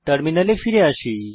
টার্মিনালে ফিরে আসুন